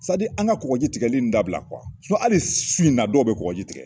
an ka kɔgɔji tigɛli in dabila hali su in na dɔw bɛ kɔgɔji tigɛ.